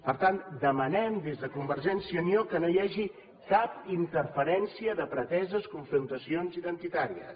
per tant demanem des de convergència i unió que no hi hagi cap interferència de preteses confrontacions identitàries